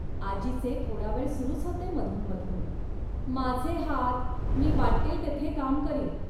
आजीचे थोडा वेळ सुरूच होते मधून मधून. माझे हात, मी वाटेल तेथे काम करीन